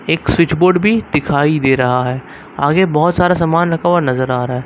एक switchboard भी दिखाई दे रहा है आगे बहुत सारा सामान रखा हुआ नजर आ रहा है।